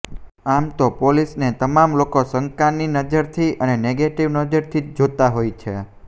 આમ તો પોલીસને તમામ લોકો શંકાની નજરથી અને નેગેટિવ નજરથી જ જોતા હોય છે